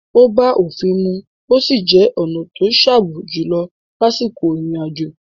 Ó bá òfin mu ó sì jẹ́ ọ̀na to sààbò jùlọ lásìkò ìrìn àjò.